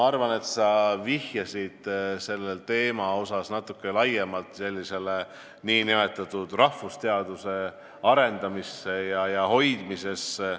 Aga sa vihjasid natuke laiemalt nn rahvusteaduste arendamisele ja hoidmisele.